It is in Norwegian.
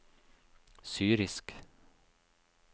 syrisk